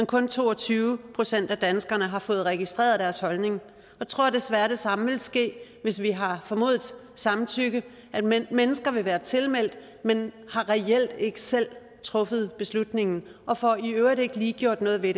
kun to og tyve procent af danskerne har fået registreret deres holdning jeg tror desværre det samme vil ske hvis vi har formodet samtykke nemlig at mennesker vil være tilmeldt men de har reelt ikke selv truffet beslutningen og får i øvrigt ikke lige gjort noget ved